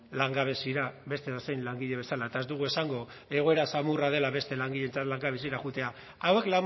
langabeziara beste edozein langile bezala eta ez dugu esango egoera samurra dela beste langileentzat langabeziara joatea hauek